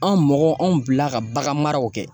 An mɔgɔw, anw bila ka bagan maraw kɛ.